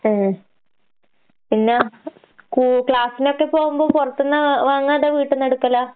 ഏഹ്? പിന്നാ കൂ ക്ലാസ്സിനൊക്കെ പോവുമ്പ പൊറത്ത്ന്നാ വ് വാങ്ങാ അതാ വീട്ട്ന്നെടുക്കലാ?